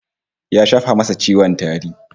Ya shafa masa ciwon tari